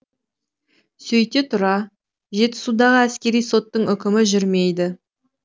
сөйте тұра жетісудағы әскери соттың үкімі жүрмейді